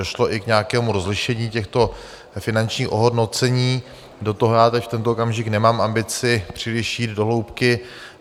Došlo i k nějakému rozlišení těchto finančních ohodnocení, do toho já teď v tento okamžik nemám ambici příliš jít do hloubky.